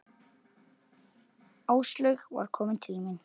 Áslaug var komin til mín.